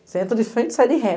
Você entra de frente e sai de ré.